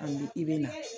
A bi i be na